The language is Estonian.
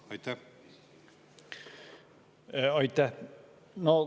Aitäh!